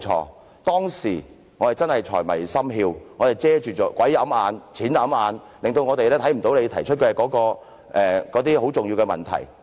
我們當時真是財迷心竅，錢掩眼，致令到我們看不到你提出的重要問題。